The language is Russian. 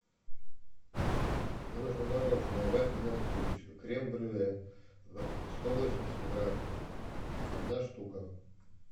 мне нужно мороженое вафельная трубочка крем брюле сто восемьдесят грамм одна штука